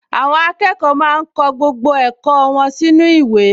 Àwọn akẹ́kọ̀ọ máa ń kọ gbogbo ẹ̀kọ́ wọn sínú ìwé